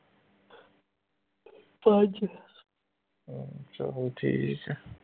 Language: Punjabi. ਚਲੋ ਠੀਕ ਹੈ